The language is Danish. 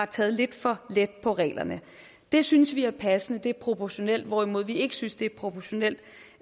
tage lidt for let på reglerne det synes vi er passende det er proportionalt hvorimod vi ikke synes det er proportionalt